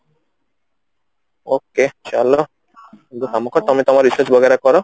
ok ଚାଲ ତମେ ତମର recess କର